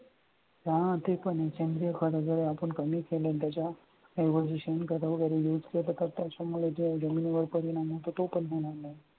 हा ते पण आहे आपण कमी केल्याने त्याच्या evaluation कराव कारण इतक्या तर काढता त्याच्यामुळे जमिनीवर परिणाम होतो पण होणार आहे